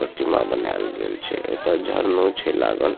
प्रतिमा बनाएल गेल छे एता झरनो छे लागल।